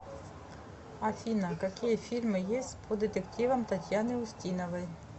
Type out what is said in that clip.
афина какие фильмы есть по детективам татьяны устиновои